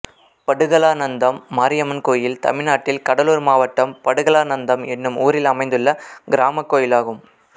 படுகளாநத்தம் மாரியம்மன் கோயில் தமிழ்நாட்டில் கடலூர் மாவட்டம் படுகளாநத்தம் என்னும் ஊரில் அமைந்துள்ள கிராமக் கோயிலாகும்